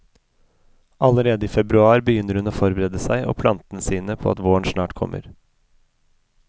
Allerede i februar begynner hun å forberede seg og plantene sine på at våren snart kommer.